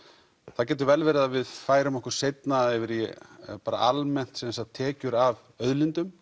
það getur vel verið að við færum okkur seinna yfir í almennt tekjur af auðlindum